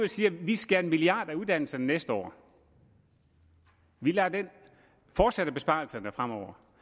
siger vi skærer en milliard uddannelserne næste år og vi fortsætter besparelserne fremover